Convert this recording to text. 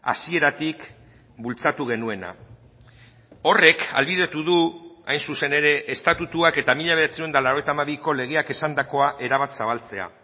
hasieratik bultzatu genuena horrek ahalbidetu du hain zuzen ere estatutuak eta mila bederatziehun eta laurogeita hamabiko legeak esandakoa erabat zabaltzea